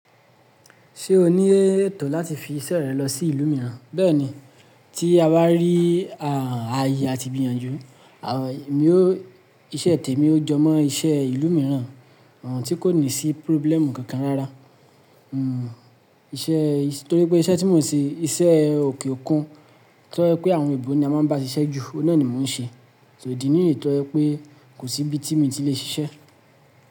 Ṣé o ní ètò láti fi iṣẹ́ rẹ lọ sí ìlú mìíràn? Bẹ́ẹ̀ni, tí abà rí ààyè àti ìgbìyànjú, iṣẹ́ tẹ̀ mi ó jemọ́ iṣẹ́ ìlú mìíràn, àń, ti kò ní sí probíléèmù kankan rárá. Hmm, iṣẹ́, torí pé iṣẹ́ tí mò ń ṣe, iṣẹ́ òkè òkun, to ye pé àwọn oyinbó ni a máa ń bá ṣiṣẹ́ jù, oun na ni mò ń ṣe. So, idi nìyí to ye pé kò sí ibi tí mí ti le ṣiṣẹ́.